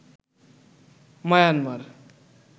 Myanmar